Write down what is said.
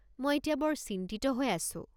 মই এতিয়া বৰ চিন্তিত হৈ আছোঁ।